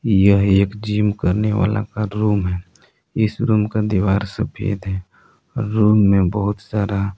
यह एक जिम करने वाला का रूम है इस रूम का दीवार सफेद है और रूम में बहुत सारा --